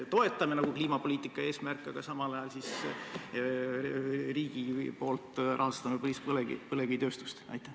Me toetame nagu kliimapoliitika eesmärke, aga samal ajal riik rahastab põlevkivitööstust?